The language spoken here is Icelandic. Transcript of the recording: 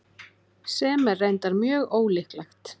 Sem er reyndar mjög ólíklegt.